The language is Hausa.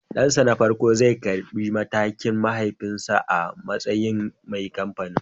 Dansa na farko zai karbi mukamin mahaifinsa a matsayin mai kamfanin